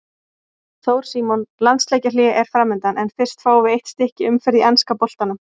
Þór Símon Landsleikjahlé er framundan en fyrst fáum við eitt stykki umferð í enska boltanum.